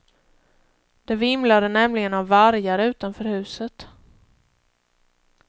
Det vimlade nämligen av vargar utanför huset.